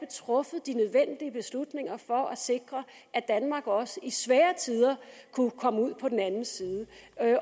truffet de nødvendige beslutninger for at sikre at danmark også i svære tider kunne komme ud på den anden side